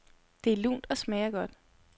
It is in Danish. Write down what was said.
Det er lunt og smager godt.